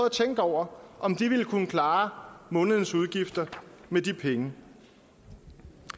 at tænke over om de ville kunne klare månedens udgifter med de penge